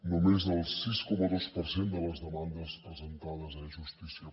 només el sis coma dos per cent de les demandes presentades a e justícia